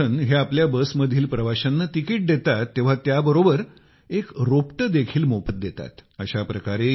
योगनाथान हे आपल्या बसमधील प्रवाशांना तिकीट देतात तेव्हा त्याबरोबर एक रोपटे देखील मोफत देतात